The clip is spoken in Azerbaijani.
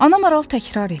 Ana maral təkrar etdi.